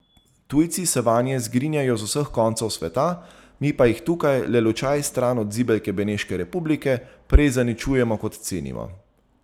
Tujci se vanje zgrinjajo z vseh koncev sveta, mi pa jih tukaj, le lučaj stran od zibelke Beneške republike, prej zaničujemo, kot cenimo.